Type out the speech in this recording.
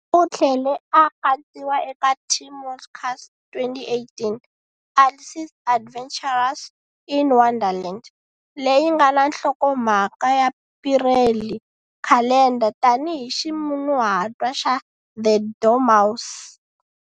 U tlhele a katsiwa eka Tim Walker's 2018 Alice's Adventures in Wonderland-leyi nga na nhlokomhaka ya Pirelli Calendar tanihi ximunhuhatwa xa The Dormouse.